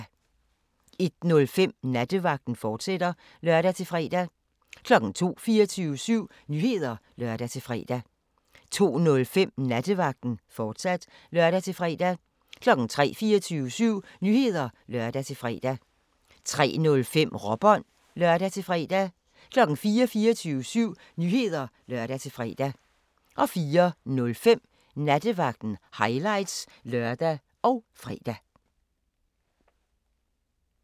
01:05: Nattevagten, fortsat (lør-fre) 02:00: 24syv Nyheder (lør-fre) 02:05: Nattevagten, fortsat (lør-fre) 03:00: 24syv Nyheder (lør-fre) 03:05: Råbånd (lør-fre) 04:00: 24syv Nyheder (lør-fre) 04:05: Nattevagten – highlights (lør og fre)